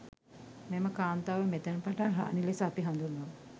මෙම කාන්තාව මෙතැන් පටන් රාණි ලෙස අපි හඳුන්වමු.